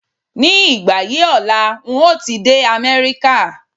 Ní ìgbà yí ọ̀la ń o ti dé Amẹ́ríkà